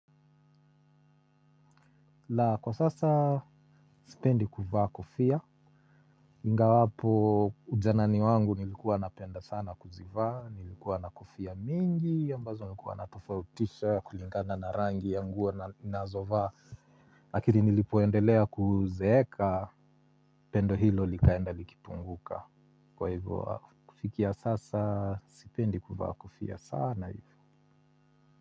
Laa! Kwa sasa sipendi kuvaa kofia ingawapo ujanani wangu nilikuwa napenda sana kuzivaa nilikuwa na kofia mingi ambazo nilikuwa natofautisha kulingana na rangi ya nguo nazovaa. Lakini nilipoendelea kuzeeka pendo hilo likaenda likipunguka, kwa hivyo kufikia sasa sipendi kuvaa kofia sana hivyo.